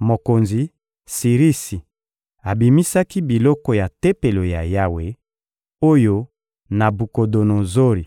Mokonzi Sirisi abimisaki biloko ya Tempelo ya Yawe, oyo Nabukodonozori